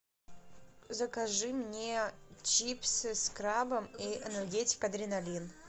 закажи мне чипсы с крабом и энергетик адреналин